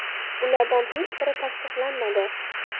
Ulardan hech biri tasdiqlanmadi.